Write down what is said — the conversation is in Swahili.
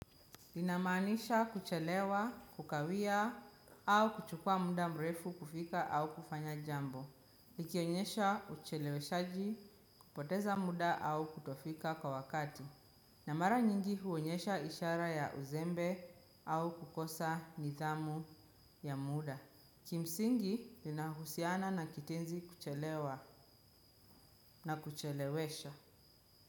Linamaanisha kuchelewa, kukawia au kuchukua muda mrefu kufika au kufanya jambo. Likionyesha ucheleweshaji kupoteza muda au kutofika kwa wakati. Na mara nyingi huonyesha ishara ya uzembe au kukosa nidhamu ya muda. Kimsingi linahusiana na kitenzi kuchelewa na kuchelewesha.